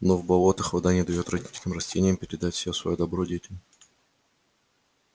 но в болотах вода не даёт родителям-растениям передать все своё добро детям